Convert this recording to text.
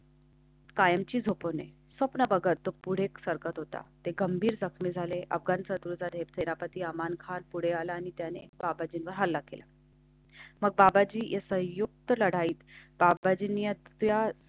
कायमची झ़ोपणे स्वप्ना बघा तो पुढे सरकत होता ते गंभीर जखमी झाले अफगाण चातुर्याचे राप्ती अमान खान पुढे आला आणि त्याने बाबाजी महा लागेल मग बाबाजी या संयुक्त लढाईत बाबाजी आत्या.